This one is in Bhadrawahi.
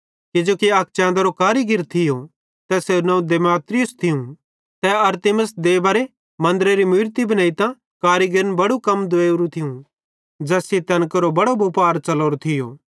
किजोकि अक चैंदरो करीगिर थियो तैसेरू नवं दिमेत्रियुस थियूं ते अरतिमिस देबारे मन्दरेरी मूरती बनेइतां कारीगिरन बड़ू कम दुवेरु थियूं ज़ैस सेइं तैन केरो बड़ो बुपार च़लोरो थियो